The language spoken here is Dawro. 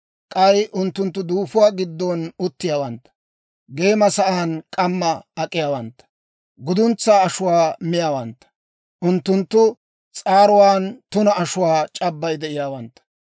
K'ay unttunttu duufuwaa giddon uttiyaawantta; geema sa'aan k'ammaa ak'iyaawantta. Guduntsaa ashuwaa miyaawantta; unttunttu s'aaruwaan tuna ashuwaa c'abbay de'iyaawantta.